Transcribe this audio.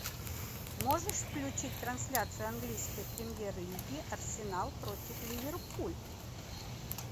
можешь включить трансляцию английской премьер лиги арсенал против ливерпуль